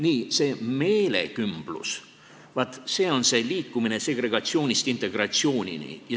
Nii, see meelekümblus, vaat see on see liikumine segregatsioonist integratsioonini.